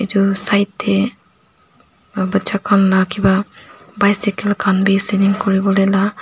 aro side tae aro bacha khan la kipa bycycle khan bi selling kuriwolae la.